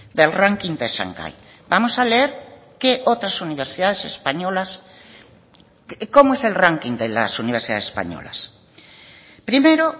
del ranking de shanghái vamos a leer qué otras universidades españolas cómo es el ranking de las universidades españolas primero